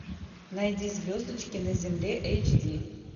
найди звездочки на земле эйч ди